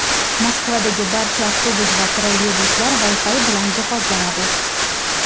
Moskvadagi barcha avtobus va trolleybuslar Wi-Fi bilan jihozlanadi.